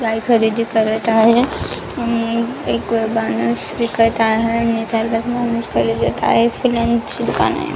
एक माणूस खरेदी करत आहे आणि एक माणूस विकत आहे आणि चार पाच --